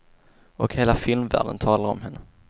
Och hela filmvärlden talar om henne.